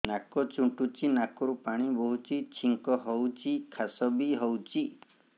ନାକ ଚୁଣ୍ଟୁଚି ନାକରୁ ପାଣି ବହୁଛି ଛିଙ୍କ ହଉଚି ଖାସ ବି ହଉଚି